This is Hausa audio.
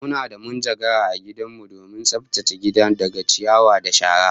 Muna da munjagara a gidan mu domin tsaftace gidan daga ciyawa da shara